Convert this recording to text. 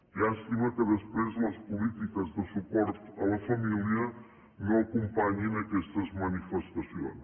llàstima que després les polítiques de suport a la família no acompanyin aquestes manifestacions